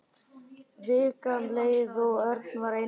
Vikan leið og Örn var einmana.